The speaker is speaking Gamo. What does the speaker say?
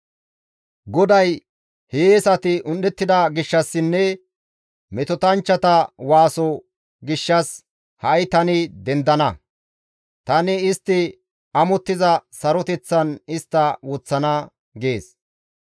GODAY, «Hiyeesati un7ettida gishshassinne, metotanchchata waaso gishshas ha7i tani dendana; tani istti amottiza saroteththan istta woththana» gees.